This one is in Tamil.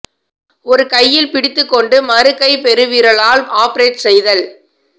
ஒரு கையில் பிடித்துக் கொண்டு மறு கை பெருவிரலால் ஆப்ரேட் செய்தல்